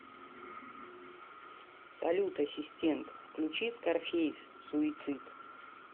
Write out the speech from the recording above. салют ассистент включи скарфейс суицид